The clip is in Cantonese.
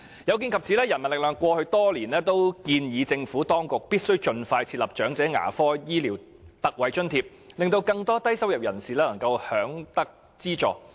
有見及此，人民力量過去多年均建議政府當局必須盡快設立長者牙科醫療特惠津貼，令更多低收入人士能享有資助。